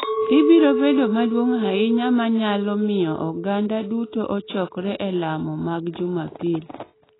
Ibiro bedo maduong’ ahinya ma nyalo miyo oganda duto ochokore e lamo mag Jumapil.